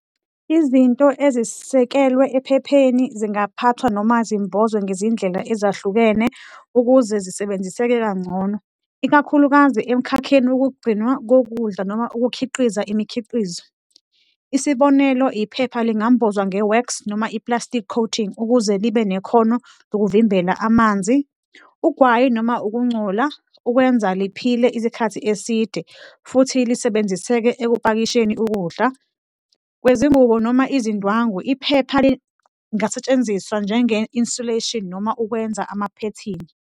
Izinto ezisekelwe ephepheni zingaphathwa noma zimbozwe ngezindlela ezahlukene ukuze zisebenziseke kangcono, ikakhulukazi emkhakheni wokugcinwa kokudla noma ukukhiqiza imikhiqizo. Isibonelo, iphepha lingambozwa nge-wax noma i-plastic coating ukuze libe nekhono lokuvimbela amanzi, ugwayi noma ukungcola, ukwenza liphile isikhathi eside futhi lisebenziseke ekupakisheni ukudla. Kwezingubo noma izindwangu, iphepha lingasetshenziswa njenge-insulation noma ukwenza amaphethini.